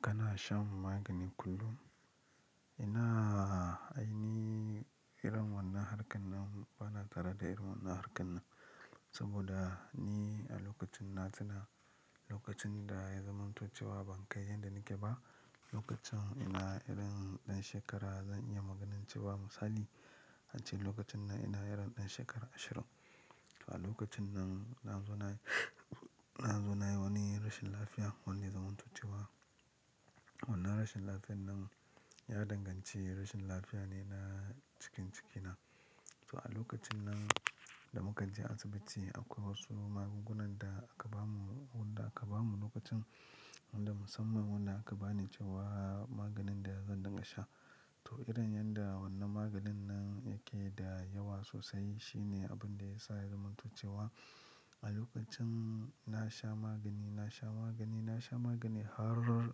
Kana shan magani kullum? Ina ai ni irin wannan harkar nan bana tare da irin wannan harkar nan. Saboda ni a lokacin na tuna lokacin da ya zamanto cewa ban kai yanda nake ba. Lokacin ina irin ɗan shekara zan iya magan cewa misali ace lokacin nan ina irin shekara ashirin. To a lokacin nan na zo nayi, na zo na yi wani rashin lafiyar wanda ya zamanto cewa wannan rashin lafiyar nan ya danganci rashin lafiya ne na cikin ciki na. To a lokacin nan da muka je asibiti akwai wasu magunguna da aka ba mu wadanda aka bamu lokacin wadan da musamman wadda aka ba ni cewar magnin da zan dinga sha to irin yadda wannan maganin nan yake da yawa sosai shine abun da ya sa ya zamanto cewa a lokacin na sha magani, na sha magani, na sha magani har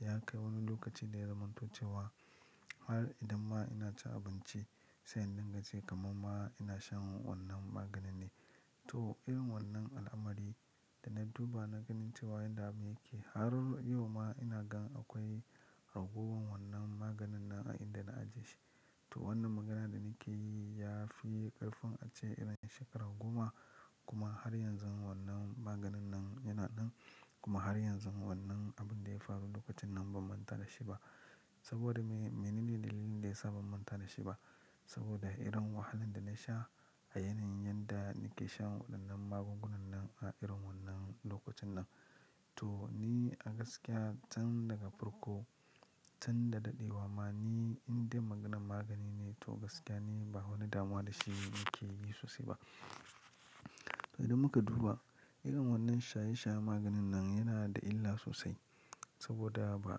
ya kai wani lokaci da ya zamanto ce wa har idan ma ina cin abinci sai in dinga ji kammar ma ina shan wanan maganin ne toh irin wannan alamari da na duba na gani cewa yadda abun yake har yau ma ina ga akwai ragwor wannan maganin nan a yadda na ajiye shi to wannan maganan da nake yi ya fi ƙarfin ace irin shekaru goma kuma har yanzu wannan maganin nan yana nan kuma har yanzu wannan abun da ya faru lokacin nan ban manta da shi ba. Saboda me, menene dalilin da ya sa ban manta da shi ba? Saboda irin wahalan da na sha a yanayin yadda nake shan waɗannan magungunan nan a irin wannan lokacin nan. To ni gaskiya can daga farko can da daɗewa ma ni indai maganan magani ne to gaskiya ni ba wani damuwa da shi nake yi sosai ba. Idan muka duba irin wannan shaye shaye maganin nan yana da illa sosai. Saboda ba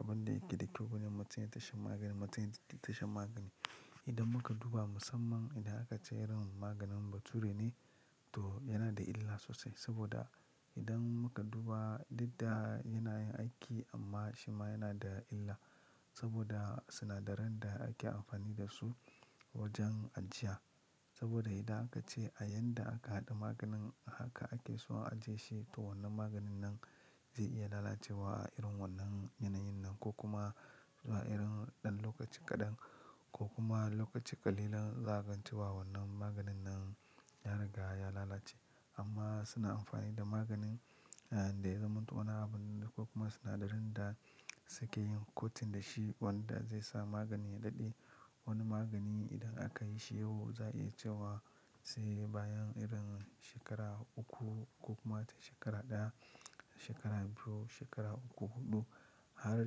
abin da yake da kyau ba ne mutum ya ta shan magani mutum ya ta sha magani. Idan muka duba musamman idan aka ce irin maganin bature ne to yana da illa sosai. Saboda idan muka duba duk da yanayin aiki amma shi ma yana da illa saboda sinadaran da ake amfani da su wajen ajiya. Saboda idan aka ce a yan da aka haɗa maganin haka ake so a ajiye shi to wannan maganin nan zai iya lalacewa irin wannan yanayin nan ko kuma zuwa irin ɗan lokaci kaɗan ko kuma lokaci ƙalilan za a gan cewa wannan maganin nan ya riga ya lalace. Amma suna amfani da maganin da ya zamanto wannan abun da ko kuma sinadarin da suke yin kotin da shi wanda zai sa magani ya daɗe. Wani magani idan aka yi shi yau za a iya cewa sai bayan irin shekara uku ko kuma ta shekara ɗaya, shekara biyu, shekara uku, huɗu har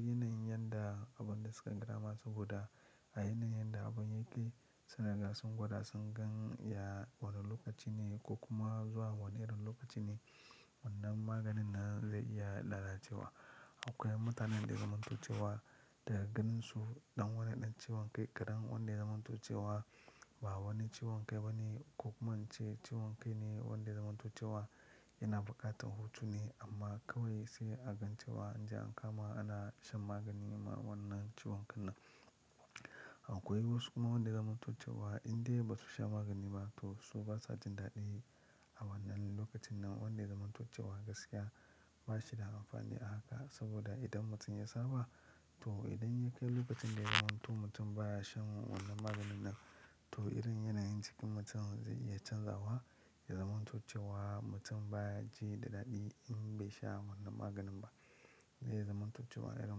yanayin yadda abun da suka kira masu. Saboda a yanayin yadda abun ya ke sun riga sun gwada sun gan ya wane lokaci ne ko kuma zuwa wane irin lokaci ne wannan maganin nan zai iya lalacewa. Akwai mutanen da zamanto cewa da gan su ɗan wane ɗan ciwon kai kaɗan wanda zamanto cewa ba wani ciwon kai ba ne ko kuma ince ciwon kai ne wanda zamantuce wa ya na buƙatar hutu ne amma kawai sai a gan cewa an je an kama ana shan magani ma wannan ciwon kai nan. Akwai wasu kuma wandanda ya zamanto cewa in dai ba su sha magani ba to su ba sa jin daɗi a wannan lokacin nan wanda zamantuce wa gaskiya ba shi da amfani a haka. Saboda idan mutum ya saba to idan ya kai lokacin da ya mutu mutum ba ya shan wannan maganin nan to irin yanayin jikin mutum zai iya canzawa ya zamanto cewa mutum ba ya ji daɗi in bai sha wannan maganin ba. Zai zamanto cewa irin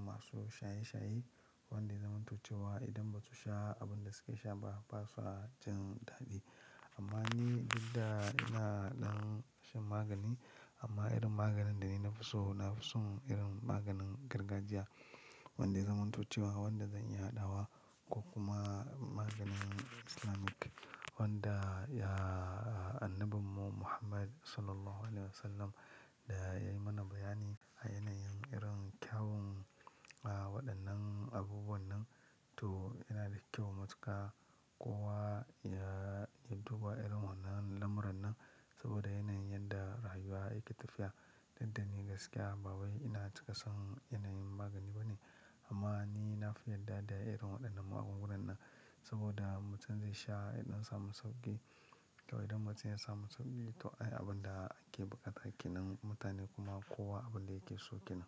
masu shaye shaye wadanda ya zamanto cewa idan ba su sha abin da suke sha ba ba sa jin daɗi. Amma ni dadda ina ɗan shan magani amma irin maganin da ni na fi so na fi son irin maganin gargajiya wadanda ya zamanto cewa wanda zan iya haɗawa ko kuma maganin Islamic wanda ya annabin mu muhammad sallallahu alaihihu wasallam da ya yi mana bayani a yanayin irin kyawun waɗannan abubuwan nan. To yana da kyau matuƙa kowa ya duba irin wannan lamuran nan. Saboda yanayin yadda rayuwa yake tafiya. Daddani gaskiya ba wai ina cika son yanayin magani ba ne. Amma ni na fi yadda da irin waɗannan magungunan nan. Saboda mutum zai sha idan sa masauki to idan mutum ya sa masauki to abin da ake buƙata ake nan mutane kuma kowa abin da yake so ke nan.